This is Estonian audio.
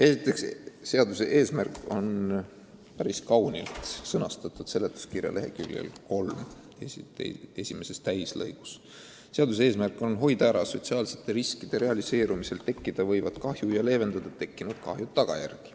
Esiteks, seaduse eesmärk on päris kaunilt sõnastatud seletuskirja leheküljel nr 3 esimeses täislõigus: "Seaduse eesmärk on hoida ära sotsiaalsete riskide realiseerumisel tekkida võivat kahju ja leevendada tekkinud kahju tagajärgi.